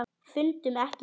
Fundum ekki fleiri orð.